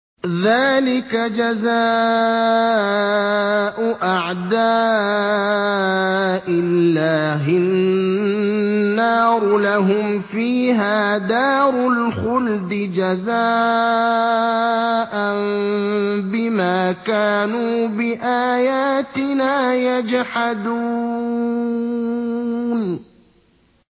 ذَٰلِكَ جَزَاءُ أَعْدَاءِ اللَّهِ النَّارُ ۖ لَهُمْ فِيهَا دَارُ الْخُلْدِ ۖ جَزَاءً بِمَا كَانُوا بِآيَاتِنَا يَجْحَدُونَ